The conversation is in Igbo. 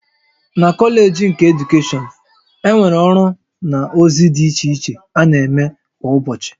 Na Kọleeji nke Edukeshọn, e nwere ọrụ na ozi dị iche iche na-eme kwa ụbọchị